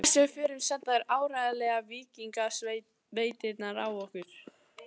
Hvert sem við förum senda þeir áreiðanlega víkingasveitirnar á okkur.